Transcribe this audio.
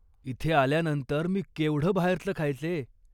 इथे आल्यानंतर मी केवढं बाहेरचं खायचे.